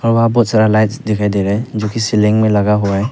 और वहां बहुत सारा लाइट्स दिखाई दे रहा है जोकि सीलिंग में लगा हुआ है।